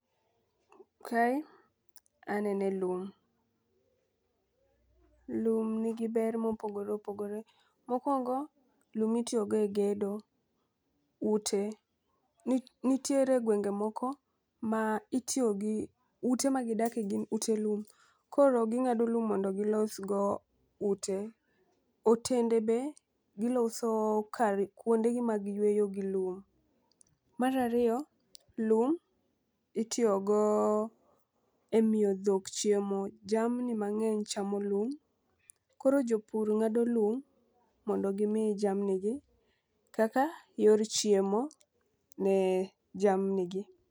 Kae anene lum, lum nigi ber mopogore opogore. Mokwongo lum itiyo go e gedo ute. Ni nitiere gwenge moko ma itiyo gi ute ma gidake gin ute lum, koro ging'ado lum mondo gilosgo ute, otende be giloso kar kuonde gi mag yueyo gi lum. Mar ariyo lum itiyo go e miyo dhok chiemo jamni mang'eny chamo lum. Koro jopur ng'ado lum mondo gimi jamni gi kaka yor chiemo ne jamni gi.